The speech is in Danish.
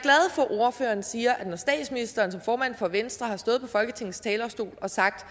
ordføreren siger at når statsministeren som formand for venstre har stået på folketingets talerstol og sagt at